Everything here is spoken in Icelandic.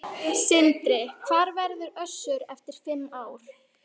Sindri: Hvar verður Össur eftir fimm ár?